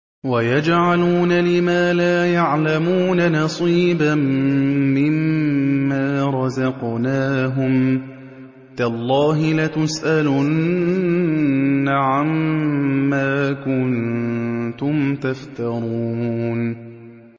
وَيَجْعَلُونَ لِمَا لَا يَعْلَمُونَ نَصِيبًا مِّمَّا رَزَقْنَاهُمْ ۗ تَاللَّهِ لَتُسْأَلُنَّ عَمَّا كُنتُمْ تَفْتَرُونَ